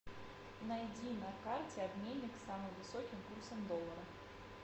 найди на карте обменник с самым высоким курсом доллара